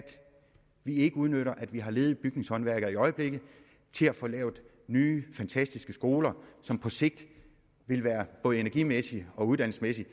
vi ikke udnytter at vi har ledige bygningshåndværkere i øjeblikket til at få lavet nye fantastiske skoler som på sigt både energimæssigt og uddannelsesmæssigt